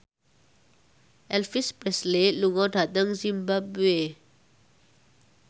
Elvis Presley lunga dhateng zimbabwe